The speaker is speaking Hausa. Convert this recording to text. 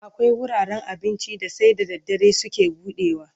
Akwai wuraren abincin da sai da daddare suke buɗewa.